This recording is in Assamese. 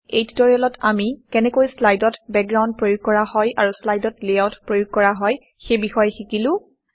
এই টিউটৰিয়েত আমি কেনেকৈ শ্লাইডত বেকগ্ৰাউণ্ড প্ৰয়োগ কৰা হয় আৰু শ্লাইডত লেআউট প্ৰয়োগ কৰা হয় সেই বিষয়ে শিকিলো